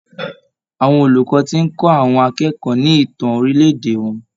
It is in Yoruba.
Àwọn olùkọ́ tí ń kó àwọn akẹ́kọ̀ọ́ ni ìtàn orílè-èdè wọn.